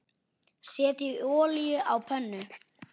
Setjið olíu á pönnu.